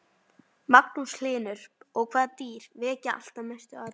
Magnús Hlynur: Og hvaða dýr vekja alltaf mestu athygli?